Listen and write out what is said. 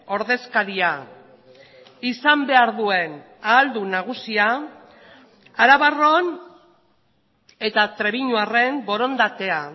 ordezkaria izan behar duen ahaldun nagusia arabarron eta trebiñuarren borondatea